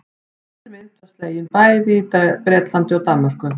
Eldri mynt var bæði slegin í Bretlandi og Danmörku.